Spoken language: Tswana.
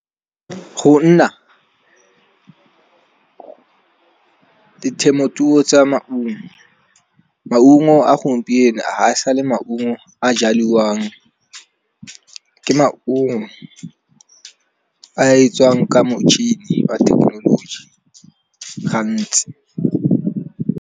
Go nna temothuo tsa maungo, maungo a gompieno ha e sale maungo a jaliwang. Ke maungo a e tswang ka motšhini a thekenoloji gantsi.